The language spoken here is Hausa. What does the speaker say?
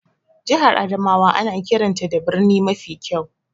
Jihar Adamawa ana kiranta da birni mafi kyau.